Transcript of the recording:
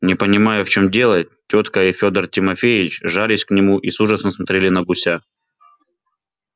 не понимая в чём дело тётка и фёдор тимофеич жались к нему и с ужасом смотрели на гуся